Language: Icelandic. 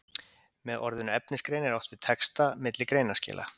Með orðinu efnisgrein er átt við texta milli greinaskila.